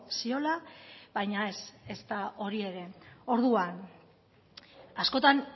ziola baina ez ezta hori ere orduan askotan